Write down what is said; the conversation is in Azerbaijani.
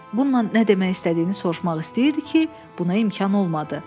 Bununla nə demək istədiyini soruşmaq istəyirdi ki, buna imkan olmadı.